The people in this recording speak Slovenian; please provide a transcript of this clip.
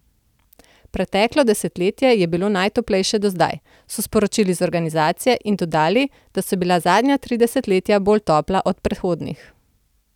Preteklo desetletje je bilo najtoplejše do zdaj, so sporočili z organizacije, in dodali, da so bila zadnja tri desetletja bolj topla od predhodnih.